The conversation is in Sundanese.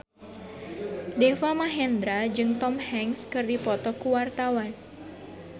Deva Mahendra jeung Tom Hanks keur dipoto ku wartawan